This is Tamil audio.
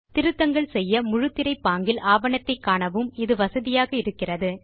திருத்தங்கள் செய்ய முழுத்திரை பாங்கில் ஆவணத்தை காணவும் இது வசதியாக இருக்கிறது